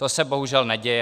To se bohužel neděje.